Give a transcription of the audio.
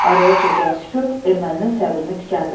Araya çökən sükut erməninin səbrini tükəndirdi.